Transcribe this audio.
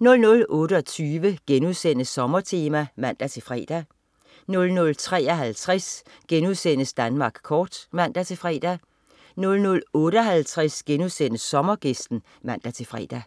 00.28 Sommertema* (man-fre) 00.53 Danmark kort* (man-fre) 00.58 Sommergæsten* (man-fre)